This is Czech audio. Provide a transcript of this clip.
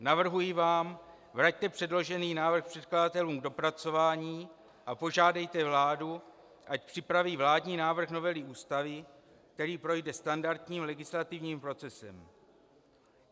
Navrhuji vám - vraťte předložený návrh předkladatelům k dopracování a požádejte vládu, ať připraví vládní návrh novely Ústavy, který projde standardním legislativním procesem.